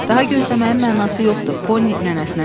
Daha gözləməyin mənası yoxdur, Poni nənəsinə dedi.